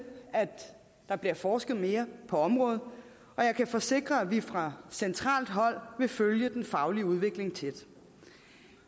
at der bliver forsket mere på området og jeg kan forsikre at vi fra centralt hold vil følge den faglige udvikling tæt